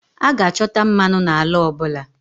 A ga-achọta mmanụ n'ala ọ bụla